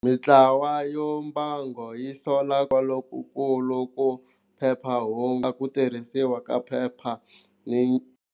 Mintlawa yo mbango yi sola kwaloku ku phephahungu ku tirhisiwa ka phepha.